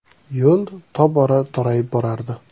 Yo‘l tobora torayib borardi.